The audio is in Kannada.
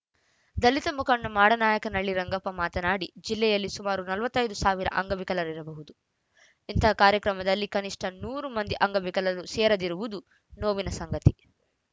ದಲಿತ ಮುಖಂಡ ಮಾಡನಾಯಕನಹಳ್ಳಿ ರಂಗಪ್ಪ ಮಾತನಾಡಿ ಜಿಲ್ಲೆಯಲ್ಲಿ ಸುಮಾರು ನಲವತ್ತ್ ಐದು ಸಾವಿರ ಅಂಗವಿಕಲರಿರಬಹುದು ಇಂತಹ ಕಾರ್ಯಕ್ರಮದಲ್ಲಿ ಕನಿಷ್ಠ ನೂರು ಮಂದಿ ಅಂಗವಿಕಲರು ಸೇರದಿರುವುದು ನೋವಿನ ಸಂಗತಿ